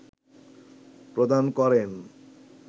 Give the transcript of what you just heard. প্রদান করেন